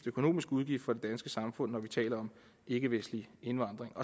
økonomisk udgift for det danske samfund når vi taler om ikkevestlig indvandring